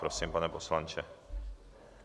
Prosím, pane poslanče.